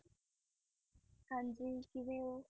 ਹਾਂਜੀ ਕਿਵੇਂ ਓ